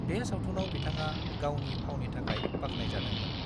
बे सावथुनाव बिथाङा गावनि फावनि थाखाय बाख्नायजादोंमोन।